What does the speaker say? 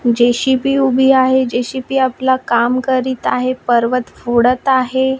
JCB उभी आहे JCB आपला काम करीत आहे पर्वत फोडत आहे.